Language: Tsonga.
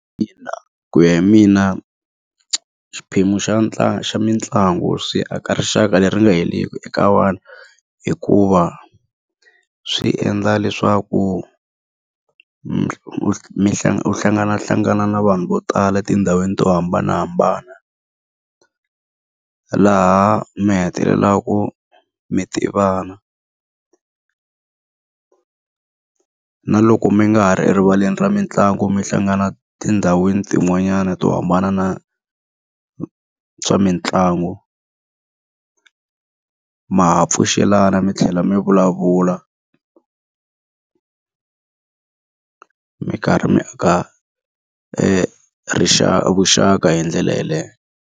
Ina ku ya hi mina xiphemu xa xa mitlangu swi aka rixaka leri nga heriki eka vanhu. Hikuva swi endla leswaku u hlanganahlangana na vanhu vo tala etindhawini to hambanahambana, laha mi hetelelaka mi tivana. Na loko mi nga ha ri erivaleni ra mitlangu mi hlangana tindhawini tin'wanyani to hambana na swa mitlangu, ma ha pfuxelana mi tlhela mi vulavula mi karhi mi aka vuxaka hi ndlela yeleyo.